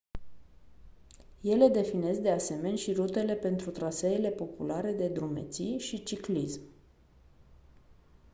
ele definesc de asemeni și rutele pentru traseele populare de drumeții și ciclism